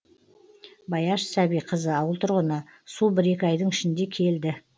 баяш сәбиқызы ауыл тұрғыны су бір екі айдың ішінде келді